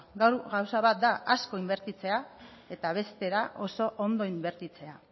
gauza bat da asko inbertitzea eta beste bat da oso ondo inbertitzea